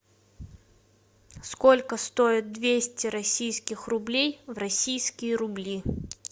сколько стоит двести российских рублей в российские рубли